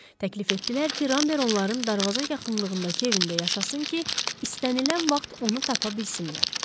Təklif etdilər ki, Ramber onların darvaza yaxınlığındakı evində yaşasın ki, istənilən vaxt onu tapa bilsinlər.